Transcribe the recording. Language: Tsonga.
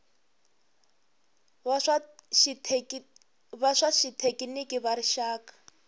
va swa xithekiniki va rixaka